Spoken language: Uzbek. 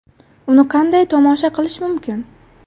Uni qanday tomosha qilish mumkin?.